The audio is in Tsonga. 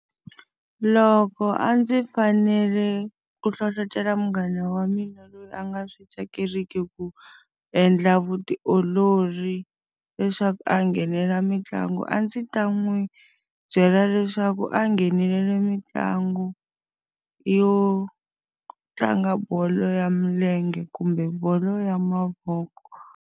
Loko a ndzi fanele ku hlohletela munghana wa mina loyi a nga swi tsakeriki ku endla vutiolori leswaku a nghenelela mitlangu, a ndzi ta n'wi byela leswaku a nghenelela mitlangu yo tlanga bolo ya milenge kumbe bolo ya mavoko.